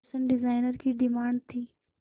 fashion designer की demand थी